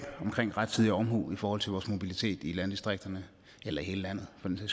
som rettidig omhu i forhold til vores mobilitet i landdistrikterne eller i hele landet for den